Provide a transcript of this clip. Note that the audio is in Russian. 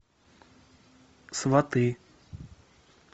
сваты